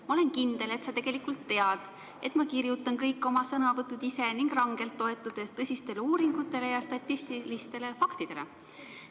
Ma olen kindel, et sa tegelikult tead, et ma kirjutan kõik oma sõnavõtud ise ning rangelt toetudes tõsistele uuringutele ja statistilistele faktidele.